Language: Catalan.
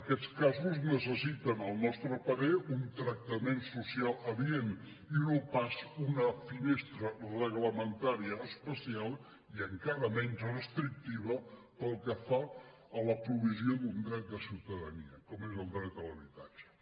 aquests casos necessiten al nostre parer un tractament social adient i no pas una finestra reglamentària especial i encara menys restrictiva pel que fa a la provisió d’un dret de ciutadania com és el dret a l’habitatge